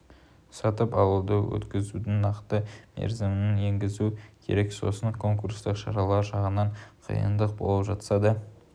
сатып алуды өткізудің нақты мерзімін енгізу керек сосын конкурстық шаралар жағынан қиындық болып жатса да